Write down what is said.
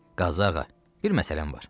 Qazı ağa, bir məsələn var.